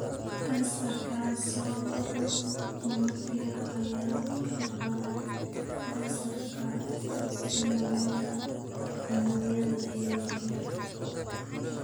Kansarka sambabada unug yar ayaa ka badan kansarka sambabada unugyada yaryar.